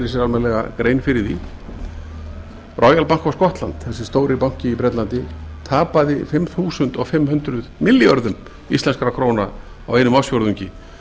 sér almennilega grein fyrir því royal bank of scotland þessi stóri banki í bretlandi tapaði fimm þúsund fimm hundruð milljörðum íslenskum krónum á einum ársfjórðungi